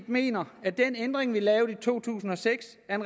mener at den ændring vi lavede i to tusind og seks er